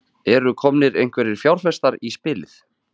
Hrund Þórsdóttir: Eru komnir einhverjir fjárfestar í spilið?